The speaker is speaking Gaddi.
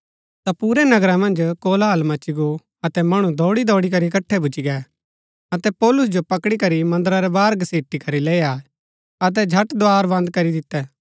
ता पुरै नगरा मन्ज कोलाहल मची गो अतै मणु दौड़ीदौड़ी करी इकट्ठै भूच्ची गै अतै पौलुस जो पकड़ी करी मन्दरा रै बाहर घसीटी करी लैई आये अतै झट द्धार बन्द करी दितै